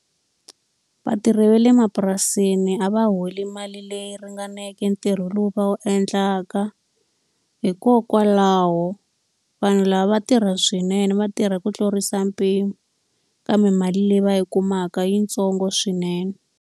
Vatirhi va le mapurasini a va holi mali leyi ringaneke ntirho lowu va wu endlaka. Hikokwalaho vanhu lava va tirha swinene va tirha ku tlurisa mpimo, kambe mali leyi va yi kumaka i yitsongo swinene.